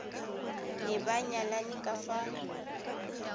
ne ba nyalane ka fa